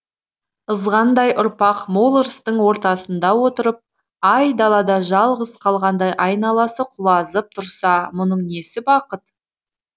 ызғындай ұрпақ мол ырыстың ортасында отырып айдалада жалғыз қалғандай айналасы құлазып тұрса мұның несі бақыт